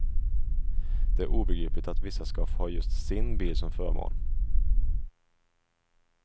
Det är obegripligt att vissa ska få ha just sin bil som förmån.